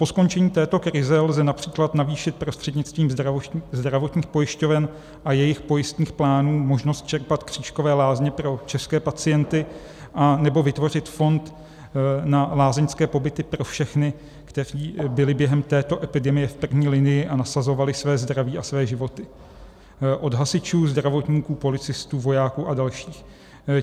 Po skončení této krize lze například navýšit prostřednictvím zdravotních pojišťoven a jejich pojistných plánů možnost čerpat křížkové lázně pro české pacienty anebo vytvořit fond na lázeňské pobyty pro všechny, kteří byli během této epidemie v první linii a nasazovali své zdraví a své životy - od hasičů, zdravotníků, policistů, vojáků a dalších.